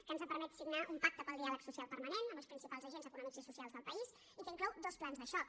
que ens ha permès signar un pacte pel diàleg social permanent amb els principals agents econòmics i socials del país i que inclou dos plans de xoc